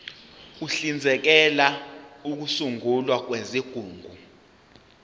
uhlinzekela ukusungulwa kwezigungu